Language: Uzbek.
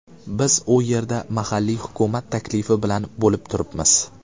Biz u yerda mahalliy hukumat taklifi bilan bo‘lib turibmiz.